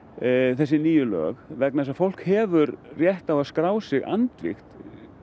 þessi nýju lög vegna þess að fólk hefur rétt á að skrá sig andvígt